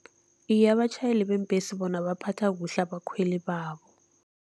Iye, abatjhayeli beembhesi bona baphatha kuhle abakhweli babo.